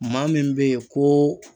Maa min be ye koo